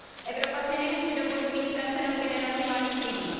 Evropa si nemůže dovolit mít ztracenou generaci mladých lidí.